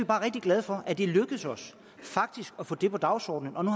bare rigtig glade for at det er lykkedes os at få det på dagsordenen og nu